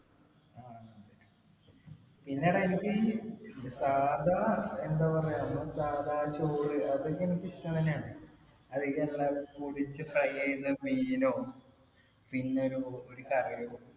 പിന്നെ എടാ എനിക്ക് ഈ സാധാ എന്താ പറയാ സാധാ ചോറ് അതൊക്കെ എനിക്കിഷ്ടം തന്നെയാണ് പൊരിച്ച് fry ചെയ്ത മീനോ പിന്നൊരു ഒരു കറിയും